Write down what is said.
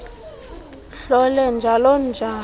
hlole njalo njalo